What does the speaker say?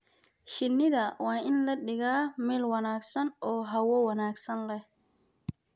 Shinnida waa in la dhigaa meel wanaagsan oo hawo wanaagsan leh.